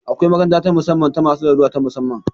Akwai makaranta ta musamman ta masu larura ta musamman